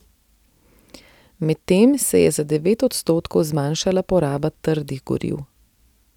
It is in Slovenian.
Medtem se je za devet odstotkov zmanjšala poraba trdnih goriv.